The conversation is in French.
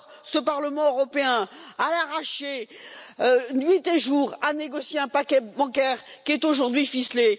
Ce Parlement européen, à l'arraché, nuit et jour, a négocié un paquet bancaire qui est aujourd'hui ficelé.